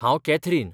हांव कॅथरीन